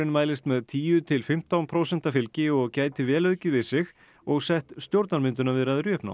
mælist með tíu til fimmtán prósenta fylgi og gæti vel aukið við sig og sett stjórnarmyndunarviðræður í uppnám